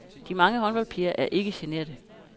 De mange håndboldpiger er ikke generte.